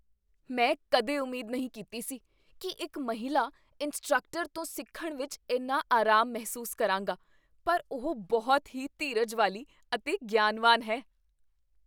ਮੈਂ ਕਦੇ ਉਮੀਦ ਨਹੀਂ ਕੀਤੀ ਸੀ ਕੀ ਇੱਕ ਮਹਿਲਾ ਇੰਸਟ੍ਰਕਟਰ ਤੋਂ ਸਿੱਖਣ ਵਿੱਚ ਇੰਨਾ ਅਰਾਮ ਮਹਿਸੂਸ ਕਰਾਂਗਾ, ਪਰ ਉਹ ਬਹੁਤ ਹੀ ਧੀਰਜ ਵਾਲੀ ਅਤੇ ਗਿਆਨਵਾਨ ਹੈ।